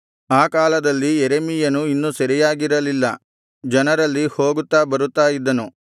ಆ ಕಾಲದಲ್ಲಿ ಯೆರೆಮೀಯನು ಇನ್ನೂ ಸೆರೆಯಾಗಿರಲಿಲ್ಲ ಜನರಲ್ಲಿ ಹೋಗುತ್ತಾ ಬರುತ್ತಾ ಇದ್ದನು